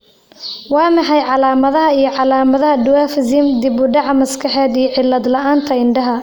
Waa maxay calamadaha iyo calaamadaha Dwarfism, dib u dhac maskaxeed iyo cillad la'aanta indhaha?